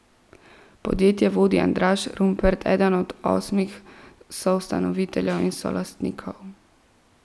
Podjetje vodi Andraž Rumpret, eden od osmih soustanoviteljev in solastnikov.